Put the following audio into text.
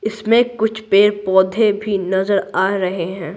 इसमें कुछ पेड़-पौधे भी नजर आ रहे हैं।